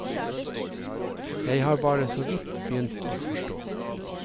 Jeg har bare så vidt begynt å forstå.